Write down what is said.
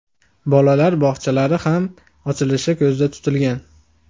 Bolalar bog‘chalari ham ochilishi ko‘zda tutilgan.